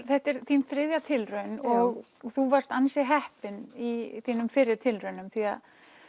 þetta er þín þriðja tilraun og þú varst ansi heppin í þínum fyrri tilraunum því